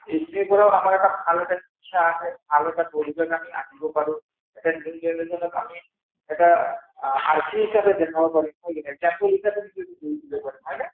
কাৰণ এইখিনিৰ পৰা আমাৰ ভাল এটা শিক্ষা আহে ভাল এটা পৰিৱেশ আমি আনিব পাৰো । এটা new generation ক আমি এটা হিচাবে দেখাব পাৰো হয়নে?